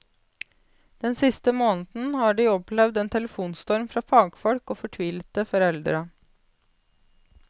Den siste måneden har de opplevd en telefonstorm fra fagfolk og fortvilte foreldre.